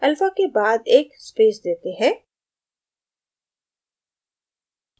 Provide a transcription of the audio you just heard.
alpha के बाद एक space देते हैं